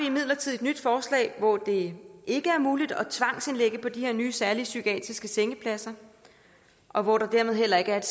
imidlertid et nyt forslag hvor det ikke er muligt at tvangsindlægge på de her nye særlige psykiatriske sengepladser og hvor der dermed heller ikke er